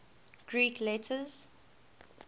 greek letters